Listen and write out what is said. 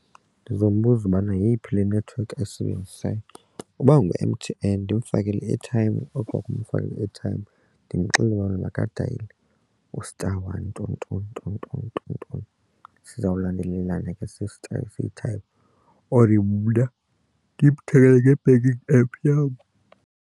Ndizombuza ubana yeyiphi le network eyisebenzisayo. Uba ngu-M_T_N ndimfakele i-airtime okwa kumfakela i-airtime ndimxelele uba makadayile u-star one nton nton nton ntoni sizawulandelelana every time ndimthengele nge-banking app yam.